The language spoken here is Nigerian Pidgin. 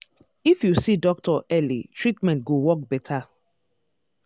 if you see doctor early treatment go work better.